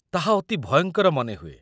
ତାହା ଅତି ଭୟଙ୍କର ମନେହୁଏ